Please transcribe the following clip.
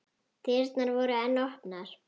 Dyrnar voru enn opnar.